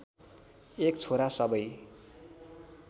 एक छोरा सबै